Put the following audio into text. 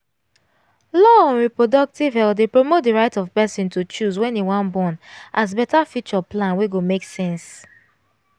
law on reproductive health dey promote the right of person to choose wen im wan bornas better future plan wey go make sense